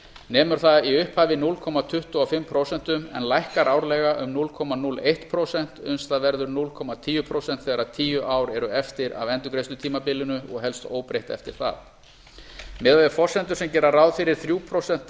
nemur það í upphafi núll komma tuttugu og fimm prósent en lækkar árlega um núll komma núll eitt prósent uns það verður núll komma tíu prósent þegar tíu ár eru eftir af endurgreiðslutímabilinu og helst óbreytt eftir það miðað við forsendur sem gera ráð fyrir þrjú prósent